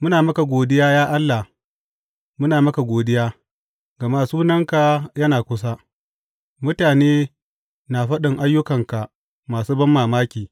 Muna maka godiya, ya Allah, muna maka godiya, gama Sunanka yana kusa; mutane na faɗin ayyukanka masu banmamaki.